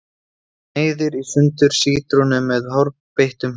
Sneiðir í sundur sítrónu með hárbeittum hníf.